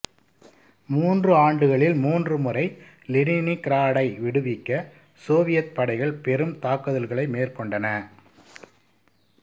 மூன்று ஆண்டுகளில் மூன்று முறை லெனினிகிராடை விடுவிக்க சோவியத் படைகள் பெரும் தாக்குதல்களை மேற்கொண்டன